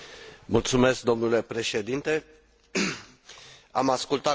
Am ascultat cu atenție punctele de vedere ale colegilor mei.